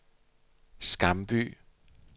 Skamby